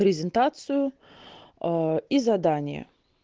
презентацию и задания